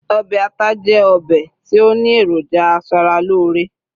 obe ata jẹ obe ti o ni eroja asaralore